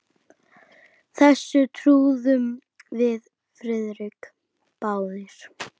Þessu trúðum við Friðrik báðir.